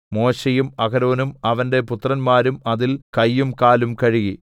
മോശെയും അഹരോനും അവന്റെ പുത്രന്മാരും അതിൽ കയ്യും കാലും കഴുകി